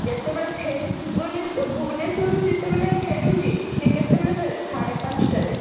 ଯେତେବେଳେ ଫେରେ ଭୁବନେଶ୍ୱର, ଭୁବନେଶ୍ୱରୁ ଯେତେବେଳେ ଫେରୁଛି ସେ କେତେବେଳେ ଫେରେ ସାଢେ ପାଞ୍ଚଟାରେ